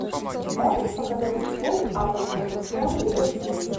можешь показать футбол апл тоттенхэм ливерпуль